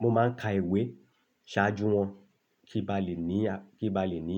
Mo máa ń ka ìwé ṣáájú wọn kí n ba lè ní, kí n ba lè ní.